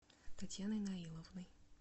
татьяной наиловной